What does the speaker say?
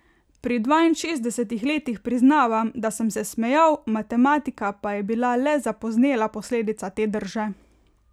Pri dvainšestdesetih letih priznavam, da sem se smejal, matematika pa je bila le zapoznela posledica te drže.